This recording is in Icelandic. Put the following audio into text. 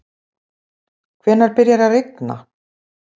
hvenær byrjar að rigna